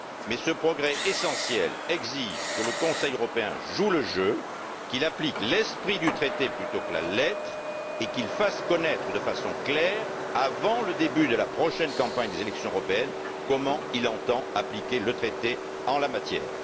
Mais ce progrès essentiel exige que le Conseil européen joue le jeu, qu'il applique l'esprit du traité plutôt que la lettre et qu'il fasse connaître de façon claire, avant le début de la prochaine campagne des élections européennes, comment il entend appliquer le traité en la matière.